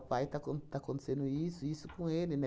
O pai, está acon está acontecendo isso, isso com ele, né?